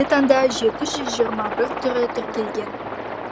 қазіргі таңда жеті жүз жиырма бір түрі тіркелген